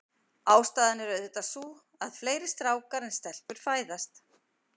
Ástæðan er auðvitað sú, að fleiri strákar en stelpur fæðast.